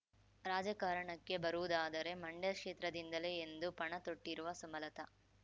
ರಾಜಕಾರಣಕ್ಕೆ ಬರುವುದಾದರೆ ಮಂಡ್ಯ ಕ್ಷೇತ್ರದಿಂದಲೇ ಎಂದು ಪಣ ತೊಟ್ಟಿರುವ ಸುಮಲತ